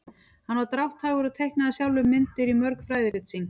hann var drátthagur og teiknaði sjálfur myndir í mörg fræðirit sín